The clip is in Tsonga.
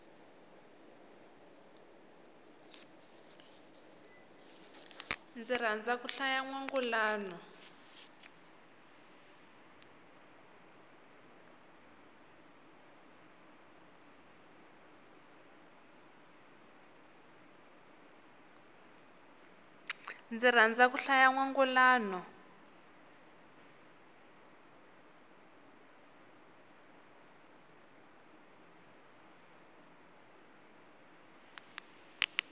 ni rhandza ku hlaya nwangulano